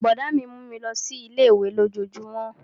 Brọ̀dá mi mú mi lọ sí ilé-ìwé lójojúmó